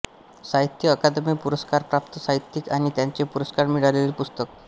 साहित्य अकादमी पुरस्कारप्राप्त साहित्यिक आणि त्यांचे पुरस्कार मिळालेले पुस्तक